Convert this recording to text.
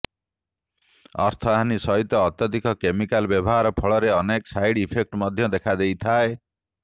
ଅର୍ଥହାନି ସହିତ ଅତ୍ୟଧିକ କେମିକାଲ ବ୍ୟବହାର ଫଳରେ ଅନେକ ସାଇଡ ଇଫେକ୍ଟ ମଧ୍ୟ ଦେଖା ଦେଇଥାଏ